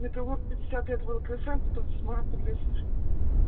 метеллург пятьдесят лет влксм потом седьмая подлесная